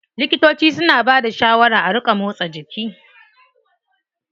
Likitoci suna bada shawaran a ringa motsa jiki.